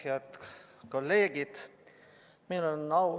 Head kolleegid!